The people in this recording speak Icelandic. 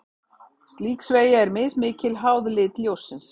Slík sveigja er mismikil, háð lit ljóssins.